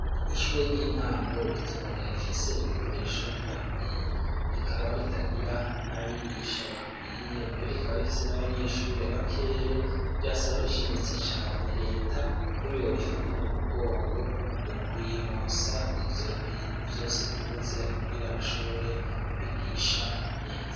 Ishure ry'intango ritoya rifise ibikoresho bidakwiye. Rikaba ritagira n'abigisha bakwiye, mbere rikaba rifise n'abanyeshure bakeya, rirasaba rishimitse cane reta ko yorifata mu mugongo, mu kuyironsa ivyo bintu vyose bibuze, kugira bashobore kwigisha neza.